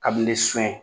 Kabini sun